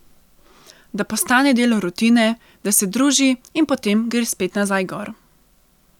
Da postane del rutine, da se druži in potem gre spet nazaj gor.